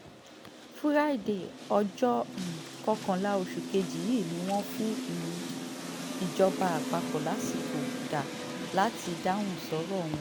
fúrádéé ọjọ́ um kọkànlá oṣù kejì yìí ni wọ́n fún um ìjọba àpapọ̀ lásìkò dá láti dáhùn sọ́rọ̀ wọn